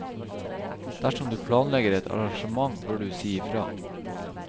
Dersom du planlegger et arrangement, bør du si fra.